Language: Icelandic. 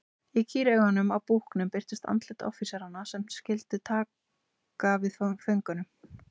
Í kýraugunum á búknum birtust andlit offíseranna sem taka skyldu við fanganum.